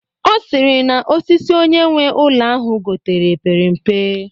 Ọ sịrị na osisi onye nwe ụlọ ahụ gotere pere mpe